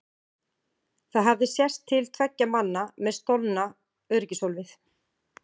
Það hafði sést til tveggja manna með stolna öryggishólfið!